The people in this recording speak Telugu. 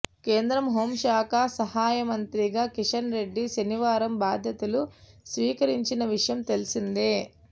కేంద్ర హోంశాఖ సహాయమంత్రిగా కిషన్ రెడ్డి శనివారం బాధ్యతలు స్వీకరించిన విషయం తెలిసిందే